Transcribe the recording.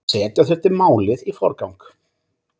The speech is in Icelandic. Setja þurfi málið í forgang.